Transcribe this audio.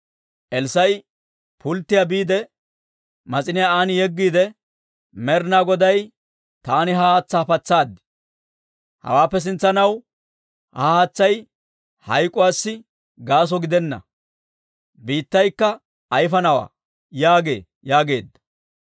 Elssaa'i pulttiyaa biide, mas'iniyaa aan yeggiide, «Med'ina Goday, ‹Taani ha haatsaa patsaad; hawaappe sintsanaw ha haatsay hayk'k'uwaassi gaaso gidenna; biittaykka ayfanawaa› yaagee» yaageedda.